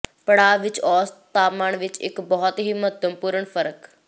ਪੜਾਅ ਵਿਚ ਔਸਤ ਤਾਪਮਾਨ ਵਿੱਚ ਇੱਕ ਬਹੁਤ ਹੀ ਮਹੱਤਵਪੂਰਨ ਫਰਕ